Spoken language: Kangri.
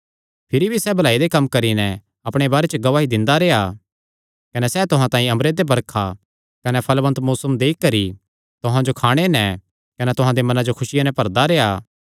भिरी भी सैह़ भलाई दे कम्म करी नैं अपणे बारे च गवाही दिंदा रेह्आ कने सैह़ तुहां तांई अम्बरे ते बरखा कने फल़वन्त मौसम देई करी तुहां जो खाणे नैं कने तुहां दे मनां जो खुसिया नैं भरदा रेह्आ